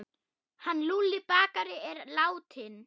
Hann Lúlli bakari er látinn.